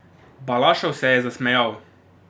Balašov se je zasmejal.